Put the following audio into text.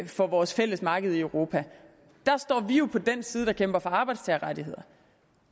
for vores fælles marked i europa der står vi jo på den side der kæmper for arbejdstagerrettigheder